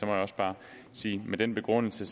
jeg også bare med den begrundelse